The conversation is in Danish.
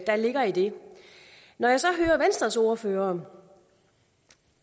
der ligger i det når jeg så hører venstres ordfører